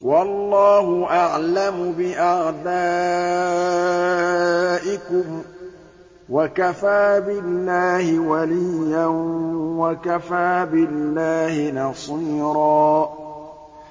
وَاللَّهُ أَعْلَمُ بِأَعْدَائِكُمْ ۚ وَكَفَىٰ بِاللَّهِ وَلِيًّا وَكَفَىٰ بِاللَّهِ نَصِيرًا